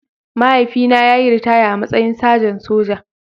Mahaifina ya yi ritaya a matsayin sajan soja